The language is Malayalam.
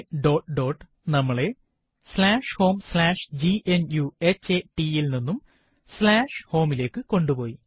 വിവരണം dot dotനമ്മളെ homegnuhata വിവരണം സ്ലാഷ് ഹോം സ്ലാഷ് gnuhata യിൽ നിന്നും home വിവരണം സ്ലാഷ് home ലേക്ക് കൊണ്ട് പോയി